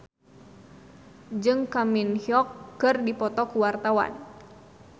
Farri Icksan Wibisana jeung Kang Min Hyuk keur dipoto ku wartawan